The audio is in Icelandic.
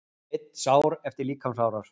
Einn sár eftir líkamsárás